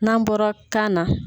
N'an bɔra kan na